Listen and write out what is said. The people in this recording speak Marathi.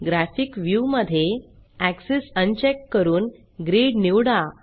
ग्राफिक व्ह्यू मधे एक्सेस अनचेक करून ग्रिड निवडा